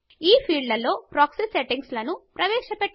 ఈ ఫీల్డ్ లలో proxy settings ను ప్రవేశ పెట్టవచ్చు